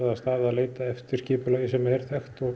að leita eftir skipulagi sem er þekkt